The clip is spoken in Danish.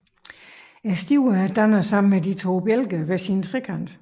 Stiverne danner sammen med de to bjælker hver sin trekant